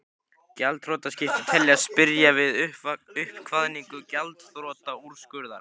Gjaldþrotaskipti teljast byrja við uppkvaðningu gjaldþrotaúrskurðar.